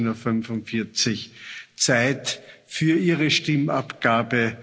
15.45 Uhr Zeit für Ihre Stimmabgabe.